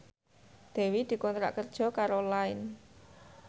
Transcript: Dewi dikontrak kerja karo Line